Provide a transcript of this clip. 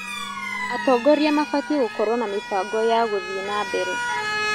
Atongoria mabatiĩ gũkorwo na mĩbango ya gũthiĩ na mbere.